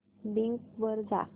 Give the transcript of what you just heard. Bing वर जा